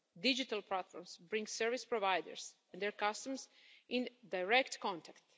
Digital platforms bring service providers and their customers into direct contact.